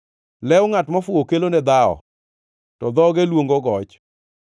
Lew ngʼat mofuwo kelone dhawo, to dhoge luongo goch.